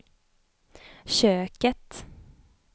köket